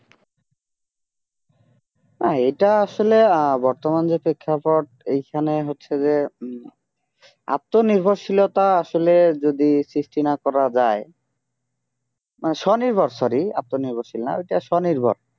আহ এটা আসলে আহ বর্তমান যে প্রেক্ষাপট এইখানে হচ্ছে যে উম আত্মনির্ভরশীলতা আসলে যদি সৃষ্টি না করা যায় মানে স্বনির্ভর sorry আত্মনির্ভরশীল না ওটা স্বনির্ভর